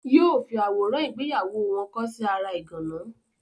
Yóò fi àwòrán ìgbéyàwó wọn kọ́ sí ara ìgànná.